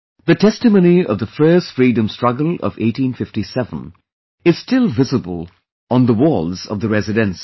The testimony of the first freedom struggle of 1857 is still visible on the walls of the Residency